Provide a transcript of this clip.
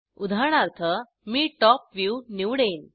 उदाहरणार्थ मी top view निवडेन